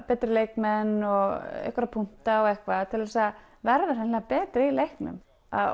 betri leikmenn og einhverja punkta og eitthvað til þess að verða hreinlega betri í leiknum